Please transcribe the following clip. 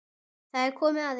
Það er komið að því.